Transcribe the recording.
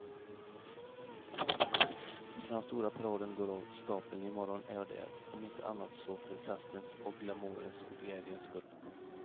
När den stora paraden går av stapeln i morgon är jag där, om inte annat så för festens och glamourens och glädjens skull.